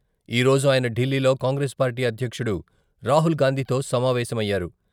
ఈరోజు ఆయన ఢిల్లీలో కాంగ్రెస్ పార్టీ అధ్యక్షుడు రాహుల్గాంధీతో సమావేశమయ్యారు.